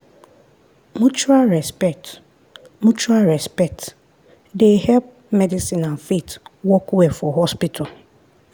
mutual respect mutual respect dey help medicine and faith work well for hospital.